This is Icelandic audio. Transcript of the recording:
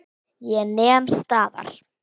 Ég nem staðar.